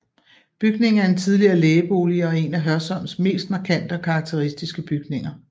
Bygningen er en tidligere lægebolig og er en af Hørsholms mest markante og karakteristiske bygninger